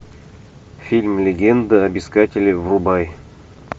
фильм легенда об искателе врубай